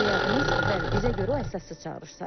Yox, təcili yardımın bəli, bizə görə o əsassız çağırış sayılır.